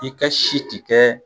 E ka ka si ti kɛ